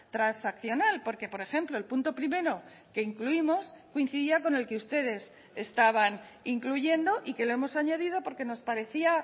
transaccional porque por ejemplo el punto primero que incluimos coincidía con el que ustedes estaban incluyendo y que lo hemos añadido porque nos parecía